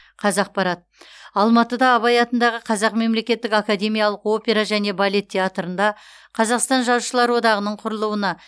қазақпарат алматыда абай атындағы қазақ мемлекеттік академиялық опера және балет театрында қазақстан жазушылар одағының құрылуына